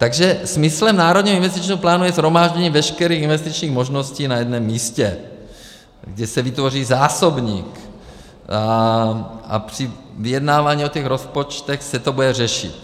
Takže smyslem Národního investičního plánu je shromáždění veškerých investičních možností na jednom místě, kde se vytvoří zásobník a při vyjednávání o těch rozpočtech se to bude řešit.